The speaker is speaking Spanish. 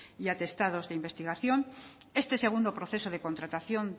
y atestados de investigación este segundo proceso de contratación